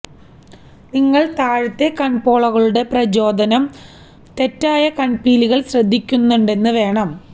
നിങ്ങൾ താഴത്തെ കണ്പോളകളുടെപ്രചോദനം ന് തെറ്റായ കണ്പീലികൾ ശ്രദ്ധിക്കുന്നുണ്ടെന്ന് വേണം